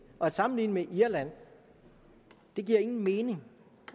at sammenligne med irland giver ingen mening